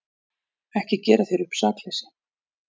Ekki gera þér upp sakleysi.